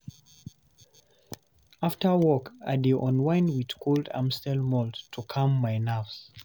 After work, I dey unwind with cold amstel malt to calm my nerves.